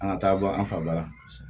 An ka taa bɔ an fa ba la